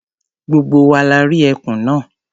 Gbogbo wa la rí ẹkùn náà.